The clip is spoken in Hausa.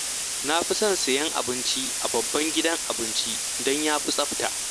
Na fi son sayen abinci a babban gidan abinci, don ya fi tsafta